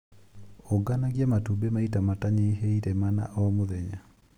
Unganagia matumbĩ maita matanyihĩire mana o mũthenya.